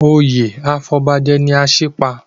Oyè afọbajẹ ni Asípa.